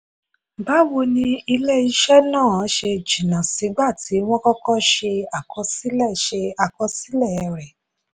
báwo ni ilé-iṣẹ́ náà ṣe jìnnà sígbà tí wọ́n kọkọ́ ṣe àkọsílẹ̀ ṣe àkọsílẹ̀ rẹ̀?